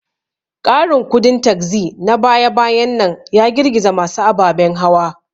Ƙarin kudin taxi na baya-bayan nan ya girgiza masu ababen hawa.